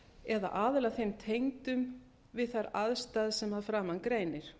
eða aðila þeim tengdum við þær aðstæður sem að framan greinir